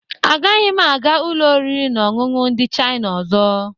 Agaghị m aga ụlọ oriri na ọṅụṅụ ndị Chaina ọzọ.